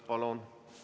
Palun!